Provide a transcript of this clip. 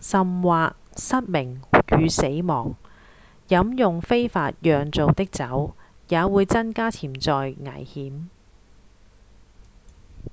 甚或失明與死亡飲用非法釀造的酒也會增加潛在危險